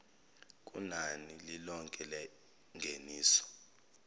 kunani lilonke lengeniso